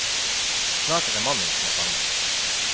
Snart er det mannen som er fanget.